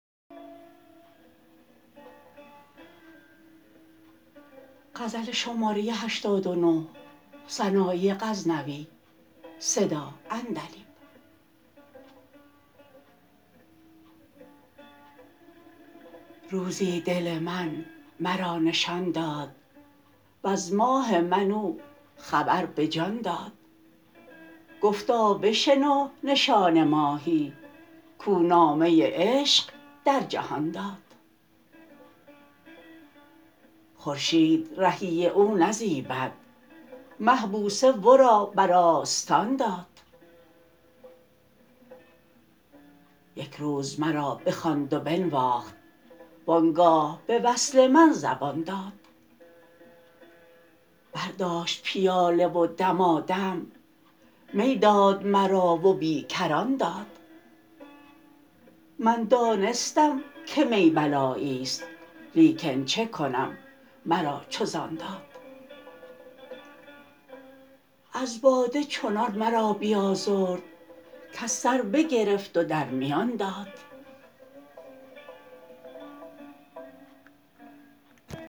روزی دل من مرا نشان داد وز ماه من او خبر به جان داد گفتا بشنو نشان ماهی کو نامه عشق در جهان داد خورشید رهی او نزیبد مه بوسه ورا بر آستان داد یک روز مرا بخواند و بنواخت و آنگاه به وصل من زبان داد برداشت پیاله و دمادم می داد مرا و بی کران داد من دانستم که می بلاییست لیکن چه کنم مرا چو ز آن داد از باده چنان مرا بیازرد کز سر بگرفت و در میان داد